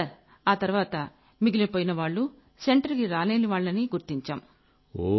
sir ఆ తర్వాత మిగిలిపోయినవాళ్లు సెంటర్ కి రాలేని వాళ్లని గుర్తించాం